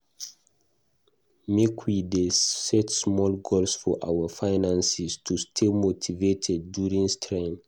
Make we dey set small goals for our finances to stay motivated during strain.